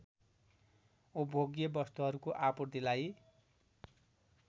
उपभोग्य वस्तुहरूको आपूर्तिलाई